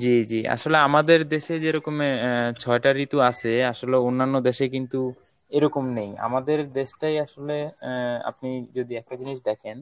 জি জি, আসলে আমাদের দেশে যেরকম আহ ছয়টা ঋতু আছে আসলে অন্যান্য দেশে কিন্তু এরকম নেই। আমাদের দেশটাই আসলে আহ আপনি যদি একটা জিনিস দেখেন